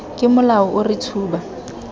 ka molao o re tshuba